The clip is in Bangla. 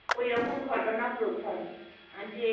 ওই রকম ঘটনা প্রথম যে